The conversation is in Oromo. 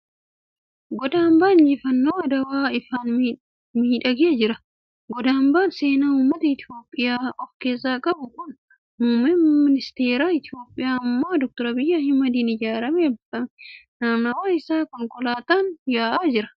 Goda ambaan injifannoo adawaa ifaan miidhagee jira. Goda ambaan seenaa uummata Itiyoophiyaa of keessa qabu kun muummee ministara Itiyoophiyaa ammaa Dr. Abiyyi Ahmadiin ijaaramee eebbifame. Naannawaa isaa konkolaataan yaa'aa jira .